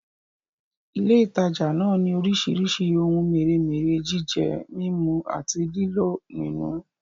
Ilé ìtajà náà ni orísìírísìí ohun mèremère jíjẹ, mímú àti lílò nínú